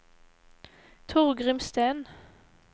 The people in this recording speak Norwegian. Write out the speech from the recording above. Torgrim Steen